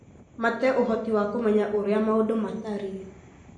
mate ũhoti wa kũmenya ũrĩa maũndũ matariĩ.